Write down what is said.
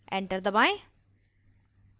enter दबाएं